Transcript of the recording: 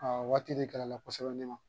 Aa waati de kɛra la kosɛbɛ ne ma